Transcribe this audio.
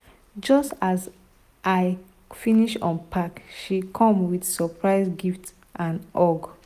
just as i finish unpack she come with surprise gift and hug.